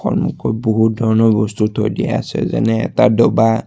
সন্মুখত বহুত ধৰণৰ বস্তু থৈ দিয়া আছে যেনে এটা ডবা।